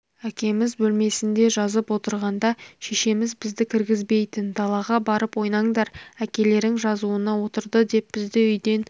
әкеміз бөлмесінде жазып отырғанда шешеміз бізді кіргізбейтін далаға барып ойнаңдар әкелерің жазуына отырды деп бізді үйден